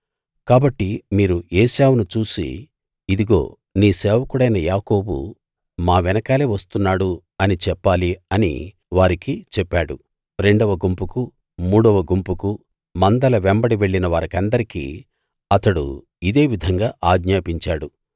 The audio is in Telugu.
కాబట్టి మీరు ఏశావును చూసి ఇదిగో నీ సేవకుడైన యాకోబు మా వెనకాలే వస్తున్నాడు అని చెప్పాలి అని వారికి చెప్పాడు రెండవ గుంపుకు మూడవ గుంపుకు మందల వెంబడి వెళ్ళిన వారికందరికీ అతడు ఇదే విధంగా ఆజ్ఞాపించాడు